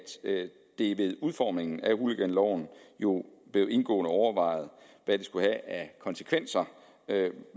det ved udformningen af hooliganloven jo blev indgående overvejet hvad det skulle have af konsekvenser